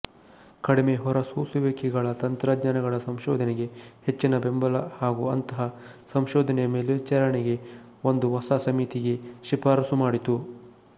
ಕಡಿಮೆಹೊರಸೂಸುವಿಕೆಗಳ ತಂತ್ರಜ್ಞಾನಗಳ ಸಂಶೋಧನೆಗೆ ಹೆಚ್ಚಿನ ಬೆಂಬಲ ಹಾಗೂ ಅಂತಹ ಸಂಶೋಧನೆಯ ಮೇಲ್ವಿಚಾರಣೆಗೆ ಒಂದು ಹೊಸ ಸಮಿತಿಗೆ ಶಿಫಾರಸುಮಾಡಿತು